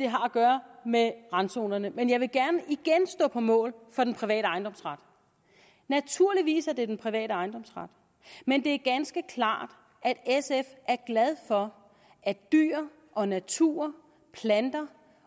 har at gøre med randzonerne men jeg vil gerne igen stå på mål for den private ejendomsret naturligvis er det den private ejendomsret men det er ganske klart at sf er glad for at dyr og natur